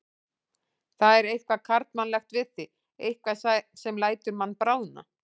Það er eitthvað karlmannlegt við þig, eitthvað sem lætur mann bráðna.